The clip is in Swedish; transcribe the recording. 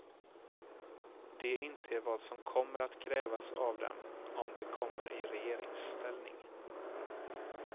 De inser vad som kommer att krävas av dem om de kommer i regeringsställning.